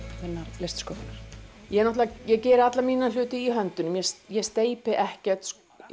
þinnar listsköpunar ég geri alla mína hluti í höndunum ég steypi ekkert